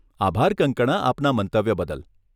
આભાર કંગકણા આપના મંતવ્ય બદલ.